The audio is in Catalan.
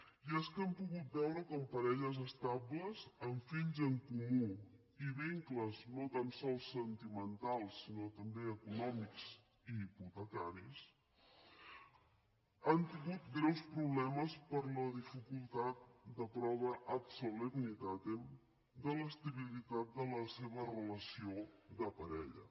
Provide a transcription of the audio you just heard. i és que hem pogut veure com parelles estables amb fills en comú i vincles no tan sols sentimentals sinó també econòmics i hipotecaris han tingut greus problemes per la dificultat de prova ad solemnitatem de l’estabilitat de la seva relació de parella